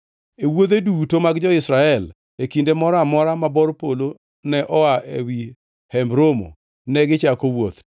E wuodhe duto mag jo-Israel, e kinde moro amora ma bor polo ne oa ewi Hemb Romo negichako wuoth,